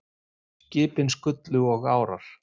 Skipin skullu og árar